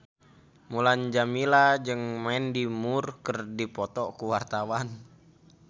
Mulan Jameela jeung Mandy Moore keur dipoto ku wartawan